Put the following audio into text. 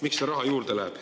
Miks see raha sinna läheb?